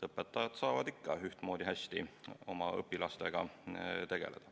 Õpetajad saavad ikka ühtmoodi hästi oma õpilastega tegeleda.